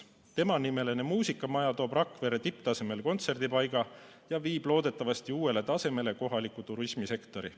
Temanimeline muusikamaja toob Rakverre tipptasemel kontserdipaiga ja viib loodetavasti uuele tasemele kohaliku turismisektori.